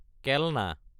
কেলনা